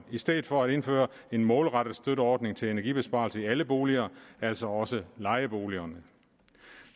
i stedet for at indføre en målrettet støtteordning til energibesparelse i alle boliger altså også lejeboliger